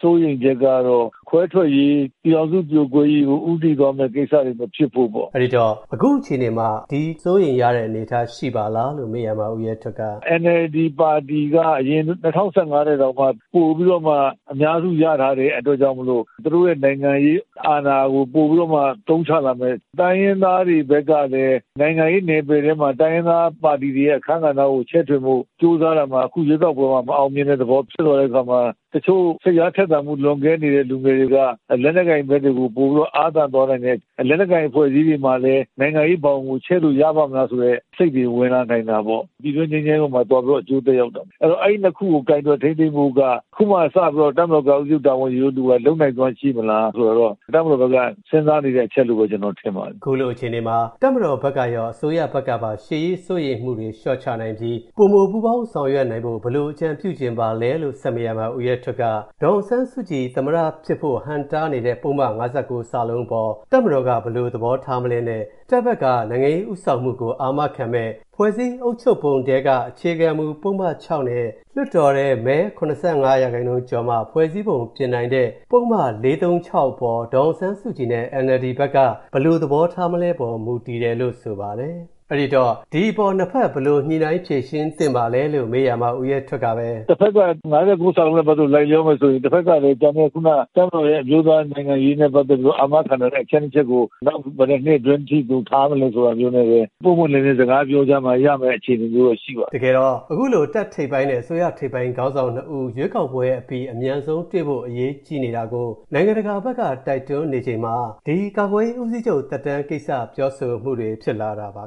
စိုးရိမ်ချက်ကတော့ ခွဲထွက်ရေး၊ ပြည်ထောင်စုပြိုကွဲရေးကို ဦးတည်သွားမယ့် ကိစ္စတွေ မဖြစ်ဖို့ပေါ့။” အဲဒီတော့ အခုအခြေအနေမှာ ဒီ စိုးရိမ်ရတဲ့ အနေအထား ရှိပါသလားလို့ မေးရာမှာတော့ ဦးရဲထွဋ်က… “NLD ပါတီက အရင် ၂၀၁၅ ထက်တောင်မှ ပိုပြီးတော့ အများစုရထားတဲ့ အတွက်ကြောင့်မို့ သူတို့ရဲ့ နိုင်ငံရေးအာဏာကို ပိုပြီးတော့ အသုံးချလာမယ်၊ တိုင်းရင်းသားတွေဘက်ကလည်း နိုင်ငံရေး နယ်ပယ်ထဲမှာ တိုင်းရင်းသားပါတီတွေရဲ့ အခန်းကဏ္ဍ ချဲ့ထွင်ဖို့ ကြိုးစားရာမှာ အခုရွေးကောက်ပွဲမှာ မအောင်မြင်တဲ့သဘော ဖြစ်သွားတဲ့အခါမှာ တချို့ စိတ်အားထက်သန်မှု လွန်ကဲနေတဲ့ လူငယ်တွေက လက်နက်ကိုင်ဘက်တွေကို ပိုပြီးတော့ အားသန်သွားနိုင်တယ်၊ လက်နက်ကိုင် အဖွဲ့အစည်းတွေမှာလည်း နိုင်ငံရေးဘောင်ကို ချဲ့လို့ ရပါ့မလားဆိုတဲ့စိတ်တွေ ဝင်လာနိုင်တာပေါ့။ ပြည်တွင်းငြိမ်းချမ်းရေးအပေါ်မှာ သွားပြီး အကျိုးသက်ရောက်တာပေါ့။ အဲဒီနှစ်ခုကို ကိုင်တွယ် ထိန်းသိမ်းဖို့က အခုမှစပြီး တပ်မတော်ကာကွယ်ရေး ဦးစီးချုပ်တာဝန် ယူတဲ့လူက လုပ်နိုင်စွမ်းရှိမလား ဆိုတာတော့ တပ်မတော်ဘက်က စဉ်းစားနေတဲ့ အချက်လို့ပဲ ကျနော်ထင်ပါတယ်။” လို့ ဆိုပါတယ်။ အဲဒီလိုအခြေအနေမှာ တပ်မတော်ဘက်ကရော အစိုးရဘက်ကပါ ရှေ့ရေးစိုးရိမ်မှုတွေ လျှော့ချနိုင်ပြီး ပိုမိုပူးပေါင်း ဆောင်ရွက်နိုင်ဖို့ ဘယ်လိုအကြံပြုချင်ပါသလဲလို့ ဆက်မေးရာမှာ ဦးရဲထွဋ်က ဒေါ်အောင်ဆန်းစုကြည် သမ္မတဖြစ်ဖို့ ဟန့်တားနေတဲ့ ပုဒ်မ ၅၉ အပေါ် တပ်မတော်က ဘယ်လိုသဘောထားမလဲနဲ့ တပ်ဘက်က နိုင်ငံရေးဦးဆောင်မှုကို အာမခံမယ့် ဖွဲ့စည်းအုပ်ချုပ်ပုံထဲက အခြေခံမူ ပုဒ်မ ၆ နဲ့ လွှတ်တော်ထဲ မဲ ၇၅ ရာခိုင်နှုန်းကျော်မှ ဖွဲ့စည်းပုံပြင်နိုင်တဲ့ ပုဒ်မ ၄၃၆ အပေါ် ဒေါ်အောင်ဆန်းစုကြည်နဲ့ NLD ဘက်က ဘယ်လိုသဘောထားမလဲအပေါ် မူတည်တယ်လို့ ဆိုပါတယ်။ အဲဒီတော့ ဒီအပေါ် နှစ်ဖက် ဘယ်လိုညှိနှိုင်း ဖြေရှင်းသင့်ပါသလဲလို့ မေးရာမှာ ဦးရဲထွဋ်ကပဲ… “တဖက်က ၅၉ နဲ့ပတ်သက်ပြီး လိုက်လျောမယ်ဆိုရင် တဖက်ကလည်း ကျန်တဲ့ ခုန တပ်မတော်ရဲ့ အမျိုးသားနိုင်ငံရေးနဲ့ ပတ်သက်ပြီးတော့ အာမခံနိုင်တဲ့ အချက်နှစ်ချက်ကို နောက် ဘယ်နှစ်နှစ်အတွင်းထိ ထားမလဲ ဆိုတာမျိုးနဲ့ပဲ ပွင့်ပွင့်လင်းလင်း စကားပြောကြမှ ရမယ့်အခြေအနေမျိုး ရှိပါတယ်။” လို့ ြပောပါတယ်။ တကယ်တော့ အခုလို တပ်ထိပ်ပိုင်းနဲ့ အစိုးရ ထိပ်ပိုင်းခေါင်းဆောင်နှစ်ဦး ရွေးကောက်ပွဲအပြီး အမြန်ဆုံးတွေ့ဖို့ အရေးကြီးနေတာကို နိုင်ငံတကာဘက်က တိုက်တွန်းနေချိန်မှာ ဒီ ကာကွယ်ရေးဦးစီးချုပ် သက်တမ်းကိစ္စ ပြောဆိုမှုတွေ ဖြစ်လာတာပါ